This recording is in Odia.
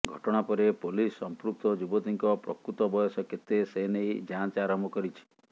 ଘଟଣା ପରେ ପୋଲିସ୍ ସମ୍ପୃକ୍ତ ଯୁବତୀଙ୍କ ପ୍ରକୃତ ବୟସ କେତେ ସେନେଇ ଯାଞ୍ଚ ଆରମ୍ଭ କରିଛି